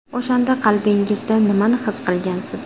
O‘shanda qalbingizda nimani his qilgansiz?